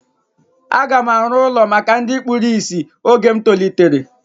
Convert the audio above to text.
A ga m arụ ụlọ maka ndị kpụrụ isi oge m tolitere